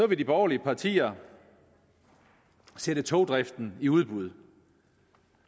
vil de borgerlige partier sætte togdriften i udbud